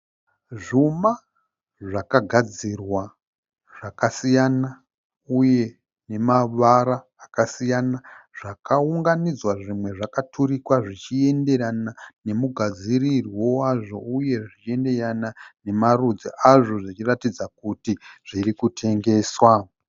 Zvuma zvakagadzirwa zvakasiyana uye nemavara akasiyana zvakaunganidza zvimwe zvakaturikwa zvichienderana nemugadzirirwo wazvo uye zvichienderana nemarudzi azvo zvichiratidza kuti zviri kutengeswa.